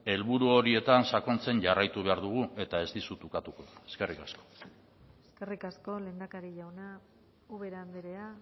helburu horietan sakontzen jarraitu behar dugu eta ez dizut ukatuko eskerrik asko eskerrik asko lehendakari jauna ubera andrea